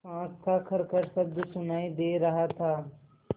साँस का खरखर शब्द सुनाई दे रहा था